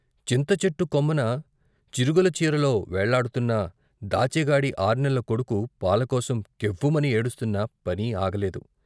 చింతచెట్టు కొమ్మన చిరుగుల చీర'లో వేళ్ళాడుతున్న దాచిగాడి ఆర్నెల్ల కొడుకు పాలకోసం కెవ్వు మని ఏడుస్తున్నా పని ఆగలేదు.